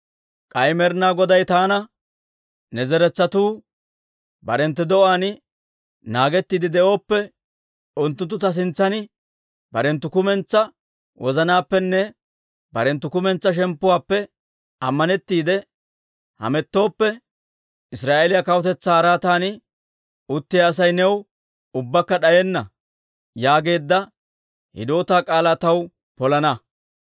K'ay Med'inaa Goday taana, ‹Ne zeretsatuu barenttu de'uwaan naagettiide de'ooppe, unttunttu ta sintsan barenttu kumentsaa wozanaappenne barenttu kumentsaa shemppuwaappe ammanettiide hamettooppe, Israa'eeliyaa kawutetsaa araatan uttiyaa Asay new ubbakka d'ayenna› yaageedda hidootaa k'aalaa taw polana.